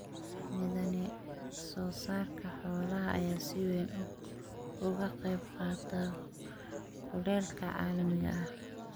Methane-soo-saarka xoolaha ayaa si weyn uga qayb qaata kulaylka caalamiga ah.